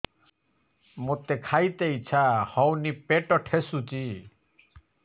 ମୋତେ ଖାଇତେ ଇଚ୍ଛା ହଉନି ପେଟ ଠେସୁଛି